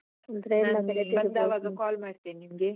ನಾನ್ ಬಂದಾವಾಗ call ಮಾಡ್ತೇನೆ ನಿಮ್ಗೆ.